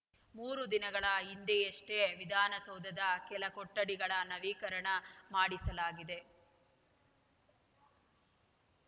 ಮೂರು ದಿನಗಳ ಹಿಂದೆಯಷ್ಟೇ ವಿಧಾನಸೌಧದ ಕೆಲ ಕೊಠಡಿಗಳ ನವೀಕರಣ ಮಾಡಿಸಲಾಗಿದೆ